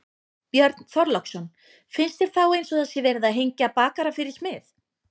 Björn Þorláksson: Finnst þér þá eins og það sé verið að hengja bakara fyrir smið?